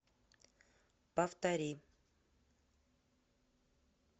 повтори